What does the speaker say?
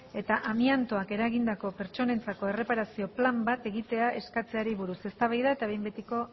eta amiantoak eragindako pertsonentzako erreparazio plan bat egitea eskatzeari buruz eztabaida eta behin betiko